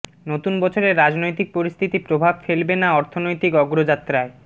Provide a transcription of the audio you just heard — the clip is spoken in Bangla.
নতুন বছরে রাজনৈতিক পরিস্থিতি প্রভাব ফেলবে না অর্থনৈতিক অগ্রযাত্রায়